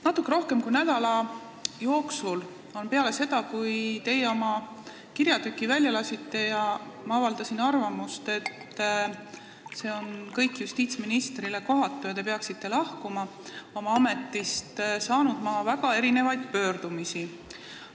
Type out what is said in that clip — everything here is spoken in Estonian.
Natuke rohkem kui nädala jooksul peale seda, kui teie oma kirjatüki välja lasite ja ma avaldasin arvamust, et see kõik on justiitsministrile kohatu ja te peaksite ametist lahkuma, olen ma saanud väga erinevaid pöördumisi.